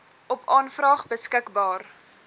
op aanvraag beskikbaar